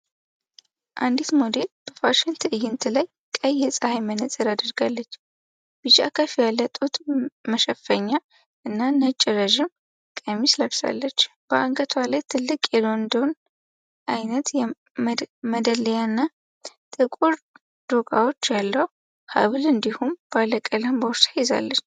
አንዲት ሞዴል በፋሽን ትዕይንት ላይ ቀይ የፀሐይ መነፅር አድርጋለች። ቢጫ ከፍ ያለ ጡት መሸፈኛ እና ነጭ ረዥም ቀሚስ ለብሳለች። በአንገቷ ላይ ትልቅ የሎንዶኒ አይነት መደሊያና ጥቁር ዶቃዎች ያለው ሐብል እንዲሁም ባለቀለም ቦርሳ ይዛለች።